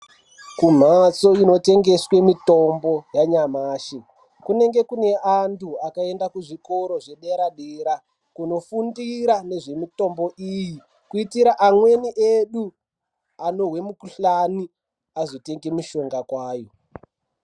Kumhatso inotengeswe mitombo yanyamashi kunenge kune antu akaende kuzvikora zvedera-dera, kunofundira nezvemitombo iyi. Kuitira amweni edu anohwe mukuhlani azotenge mishonga kwayo.